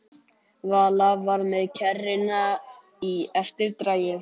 Vala var með kerruna í eftirdragi.